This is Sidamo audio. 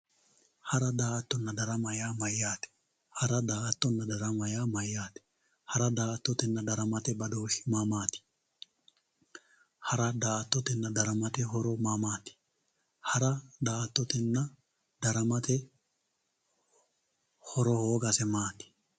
hara daa"attonna darama yaa mayaate hara daa"attonna darama yaa mayaate hara daa"attotenna daramate badooshi maamaati hara daa"attotenna daramate horo maamaati hara daa"attotenna daramate horo hoogase maati